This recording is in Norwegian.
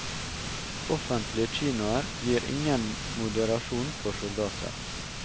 Offentlige kinoer gir ingen moderasjon for soldater.